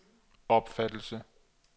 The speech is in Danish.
opfattelse